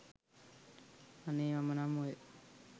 අනේ මම නම් ඔය